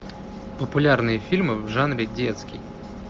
популярные фильмы в жанре детский